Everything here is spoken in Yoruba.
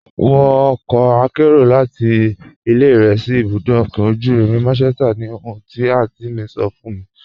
Wọ ọkọ àkẹ́ro láti ilẹ̀ rẹ sí ibùdó ọ̀kọ̀ ojú irin Manchester ni ohùn ti àntí mi sọ̀ fún mi.